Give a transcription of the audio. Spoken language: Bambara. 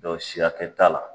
Dɔw si hakɛ t'a la